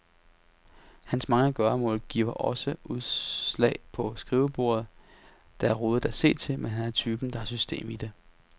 Hans mange gøremål giver også udslag på skrivebordet, der er rodet at se til, men han er typen, der har system i det.